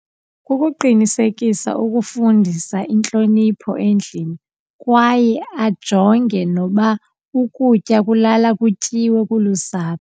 Kukuqinisekisa ukufundisa intlonipho endlini kwaye ajonge noba ukutya kulala kutyiwe kulusapho.